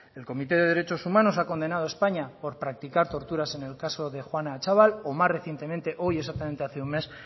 el comité de derechos humanos ha condenado a españa por practicar torturas en el caso de juana atxabal o más recientemente hoy exactamente hace un mes